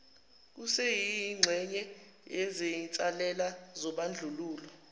kuseyingxenye yezinsalela zobandlululo